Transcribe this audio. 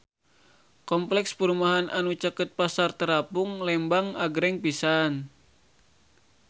Kompleks perumahan anu caket Pasar Terapung Lembang agreng pisan